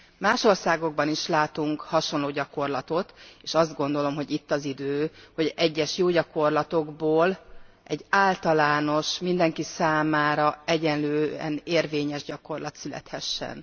Más országokban is látunk hasonló gyakorlatot, s azt gondolom, hogy itt az idő, hogy egyes jó gyakorlatokból egy általános, mindenki számára egyenlően érvényes gyakorlat születhessen.